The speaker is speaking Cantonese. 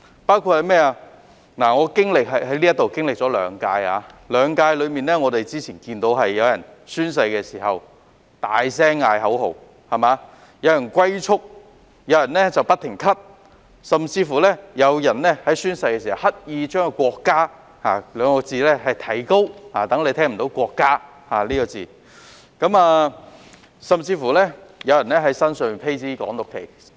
我在立法會經歷了兩屆任期，在這兩屆任期中看到有人宣誓時大喊口號、有人"龜速"讀誓詞、有人宣誓時不停咳嗽，有人宣誓時刻意提高聲調來讀出"國家"一詞，令人聽不到"國家"一詞，甚至有人在身上披着"港獨"旗幟宣誓。